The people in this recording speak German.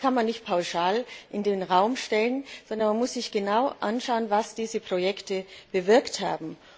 Das kann man nicht pauschal in den Raum stellen, sondern man muss sich genau anschauen, was diese Projekte bewirkt haben.